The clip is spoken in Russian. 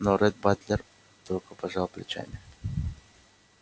но ретт батлер только пожал плечами